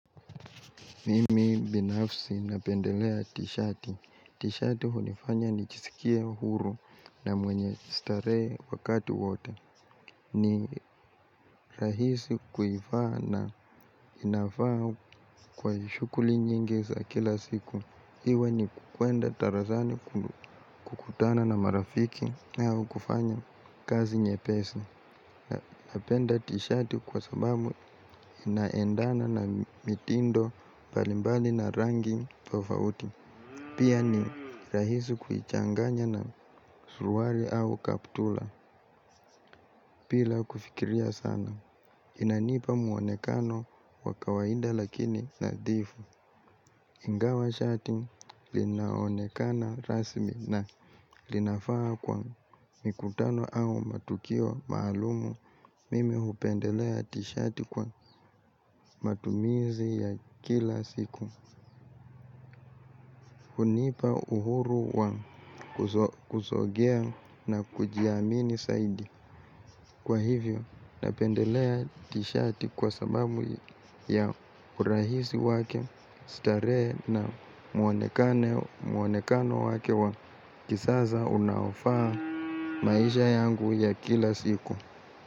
Mimi binafsi napendelea t-shirt. T-shirt unifanya nichisikia huru na mwenye starehe wakati wote. Ni rahisi kuifaa na inafaa kwa shukuli nyingi za kila siku. Iwe ni kukwenda tarazani kutana na marafiki au kufanya kazi nyepesi napenda t-shati kwa sababu inaendana na mitindo mbalimbali na rangi tofauti. Pia ni rahisi kuichanganya na suruali au kaptula pila kufikiria sana. Inanipa mwonekano wa kawaida lakini nadhifu ingawa shati linaonekana rasmi na linafaa kwa mikutano au matukio maalumu mimi hupendelea tishati kwa matumizi ya kila siku. Hunipa uhuru wa kuzogea na kujiamini saidi. Kwa hivyo napendelea tishati kwa sababu ya urahisi wake. Starehe na mwonekano wake wa kisasa unaofaa maisha yangu ya kila siku.